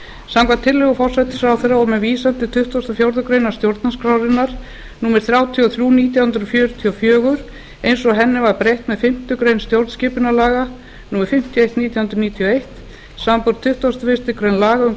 samkvæmt tillögu forsætisráðherra og með vísan til tuttugasta og fjórðu grein stjórnarskrárinnar númer þrjátíu og þrjú nítján hundruð fjörutíu og fjögur eins og henni var breytt með fimmtu grein stjórnskipunarlaga númer fimmtíu og eitt nítján hundruð níutíu og eitt samanber tuttugustu og fyrstu grein laga um